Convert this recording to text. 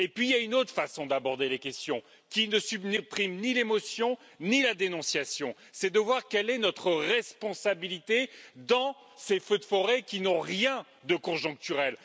Puis il y a une autre façon d'aborder la question, qui ne supprime ni l'émotion, ni la dénonciation c'est de voir quelle est notre responsabilité dans ces feux de forêt qui n'ont rien de conjoncturels.